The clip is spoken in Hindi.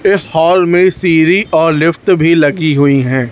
इस हॉल में सीढ़ी और लिफ्ट भी लगी हुई है।